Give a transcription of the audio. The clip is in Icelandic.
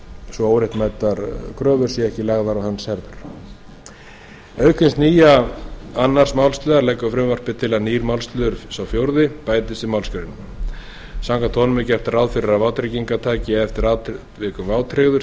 svo óréttmætar kröfur séu ekki lagðar á hönd auk þess nýja annars málsliðar leggur frumvarpið til að nýr málsliður sá fjórði bætist við málsgreinina samkvæmt honum er gert ráð fyrir að vátryggingartaki eftir atvikum vátryggður